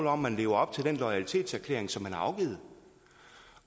om man lever op til den loyalitetserklæring som man har afgivet